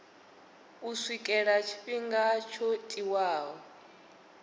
u swikela tshifhinga tsho tiwaho